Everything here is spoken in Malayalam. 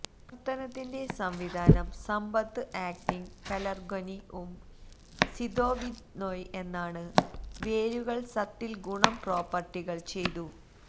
പ്രവർത്തനത്തിന്റെ സംവിധാനം സമ്പത്തു ആക്ടിംഗ് പെലര്ഗൊനിഉമ് സിദൊവിദ്നൊയ് എന്നാണ് വേരുകൾ സത്തിൽ ഗുണം പ്രോപ്പർട്ടികൾ ചെയ്തു